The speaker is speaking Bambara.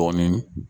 Dɔɔnin